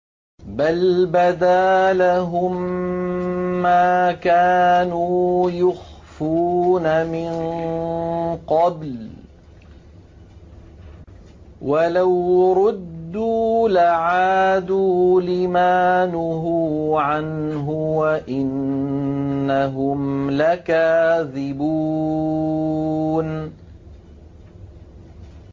بَلْ بَدَا لَهُم مَّا كَانُوا يُخْفُونَ مِن قَبْلُ ۖ وَلَوْ رُدُّوا لَعَادُوا لِمَا نُهُوا عَنْهُ وَإِنَّهُمْ لَكَاذِبُونَ